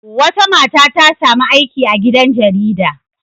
Wata mata ta sami aiki a gidan jarida.